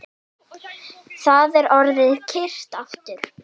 Það er orðið kyrrt aftur